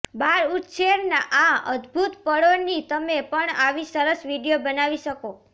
બાળઉછેર ના આ અદભુત પળો ની તમે પણ આવી સરસ વિડીયો બનાવી શકો